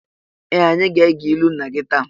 Ee! Anyị ga-ege ilu nna gị taa.